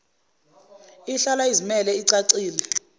ihlala izimele icacile